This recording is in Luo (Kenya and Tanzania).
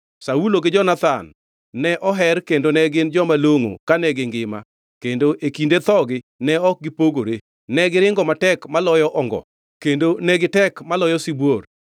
“Saulo gi Jonathan ne oher kendo ne gin joma longʼo kane gingima, kendo e kinde thogi ne ok gipogore. Negiringo matek maloyo ongo, kendo ne gitek maloyo sibuor.